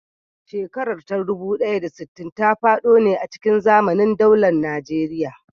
Shekarar ta dubu ɗaya da sittin ta faɗo ne a cikin zamanin daular Najeriya.